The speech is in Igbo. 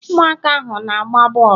ụmụaka ahụ na-agba bọọlụ